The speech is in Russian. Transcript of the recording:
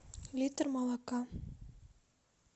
литр молока